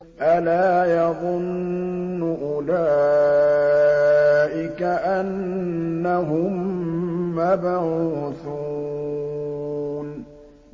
أَلَا يَظُنُّ أُولَٰئِكَ أَنَّهُم مَّبْعُوثُونَ